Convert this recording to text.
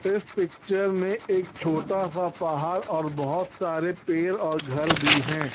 इस पिक्चर में एक छोटा सा पहाड़ और बहोत सारे पेड़ और घर भी हैं।